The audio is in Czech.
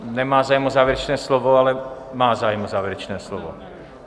Nemá zájem o závěrečné slovo, ale - má zájem o závěrečné slovo...